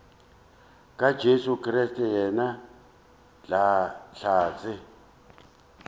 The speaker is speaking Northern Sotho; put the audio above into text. ka jesu kriste yena hlatse